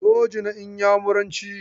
Soji na Inyamuranci.